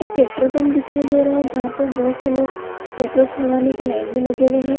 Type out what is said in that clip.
एक petrol pump दिखाई दे रहा है जहां पे बहुत से लोग पेट्रोल भरवाने के लाइन मे लगे हुए है।